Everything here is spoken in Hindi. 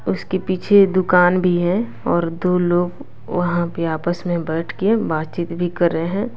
उसके पीछे दुकान भी है और दो लोग वहाँ पे आपस में बैठ के बातचीत भी कर रहे हैं।